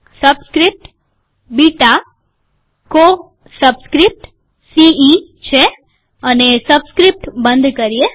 subscript beta કો subscript C E છે આ સબસ્ક્રિપ્ટ બંધ કરીએ